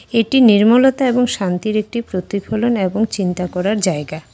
এটি নির্মলতা এবং শান্তির একটি প্রতিফলন এবং চিন্তা করার জায়গা।